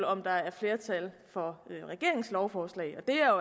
om der er flertal for regeringens lovforslag og det er